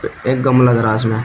एक गमला लग रहा है इसमें।